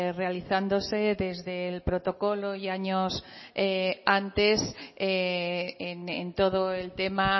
realizándose desde el protocolo y años antes en todo el tema